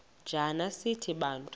njana sithi bantu